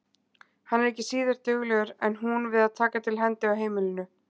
Hann er ekki síður duglegur en hún við að taka til hendi á heimilinu.